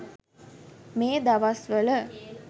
මේ දවස්වල